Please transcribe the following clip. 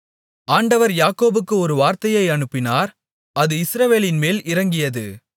ஆண்டவர் யாக்கோபுக்கு ஒரு வார்த்தையை அனுப்பினார் அது இஸ்ரவேலின்மேல் இறங்கியது